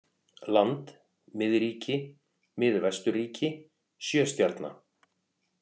land, miðríki, miðvesturríki, sjöstjarna